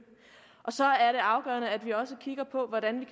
og så er det afgørende at vi også kigger på hvordan vi